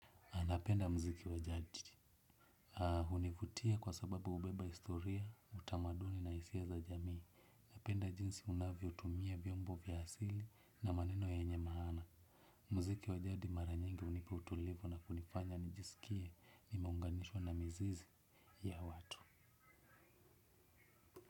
Anapenda muziki wa jadi. Hunivutia kwa sababu hubeba historia, utamaduni na hisia za jamii. Napenda jinsi unavyotumia vyombo vya asili na maneno yenye maana. Muziki wa jadi mara nyingi hunipa utulivu na kunifanya nijisikie nimeunganishwa na mizizi ya watu.